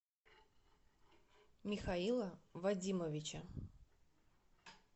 михаила вадимовича